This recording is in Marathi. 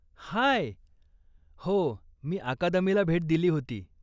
हाय! हो, मी अकादमीला भेट दिली होती.